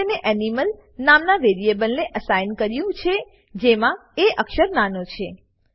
મેં તેને એનિમલ નામના વેરીએબલને એસાઈન કર્યું છે જેમાં એ અક્ષર નાનો છે